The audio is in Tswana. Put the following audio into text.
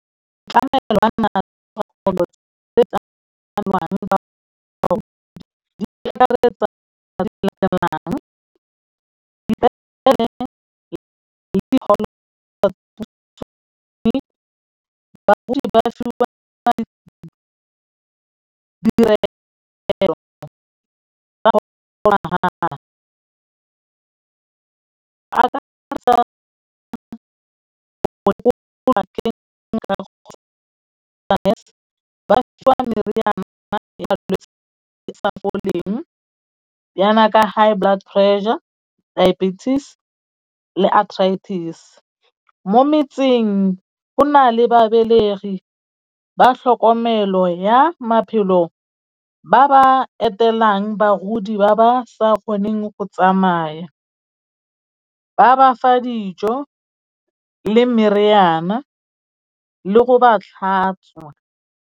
Yana ka high blood pressure, diabetes le athritis. Mo metseng go na le babelegi ba tlhokomelo ya maphelo, ba ba etelang bagodi ba ba sa kgoneng go tsamaya, ba bafa dijo le meriana le go ba tlhatswa.